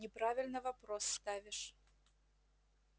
неправильно вопрос ставишь